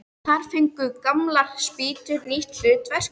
Þar fengu gamlar spýtur nýtt hlutverk.